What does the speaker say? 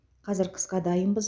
қазір қысқа дайынбыз